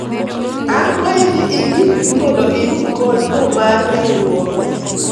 akwayi ni indikri mondo iyud kony no mar riwruok